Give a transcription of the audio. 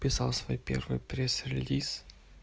писал свой первый пресс релиз